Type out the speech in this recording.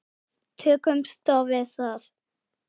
Tökumst á við það.